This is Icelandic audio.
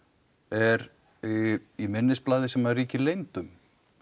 er í minnisblaði sem ríkir leynd um